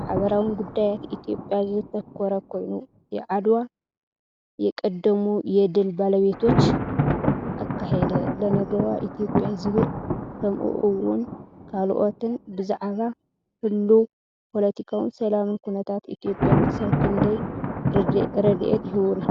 ማሕበራውን ጉዳያት ኢትዮጵያ ዘተኮረ ኮይኑ፡ "የዓደዋ የቀደሙ የድል ባለቤቶች አካሄድ ለነገዋ ኢትዮጵያ"ዝብል። ከምኡ’ውን ካልኦትን፡፡ ብዛዕባ ህሉው ፖለቲካውን ሰላምን ኩነታት ኢትዮጵያ ክሳብ ክንደይ ርድኢት ይህቡና?